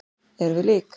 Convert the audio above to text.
Erum við lík?